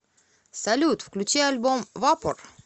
салют включи альбом вапор